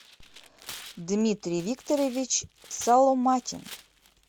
дмитрий викторович соломатин